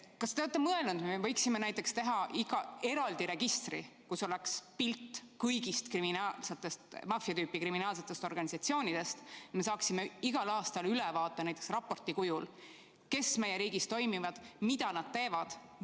Kas te olete mõelnud, et me võiksime teha eraldi registri, kus oleks pilt kõigist maffia tüüpi kriminaalsetest organisatsioonidest, et me saaksime igal aastal ülevaate näiteks raporti kujul, kes meie riigis toimetavad ja mida nad teevad?